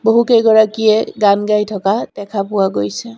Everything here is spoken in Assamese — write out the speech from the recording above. বহু কেইগৰাকীয়ে গান গাই থকা দেখা পোৱা গৈছে।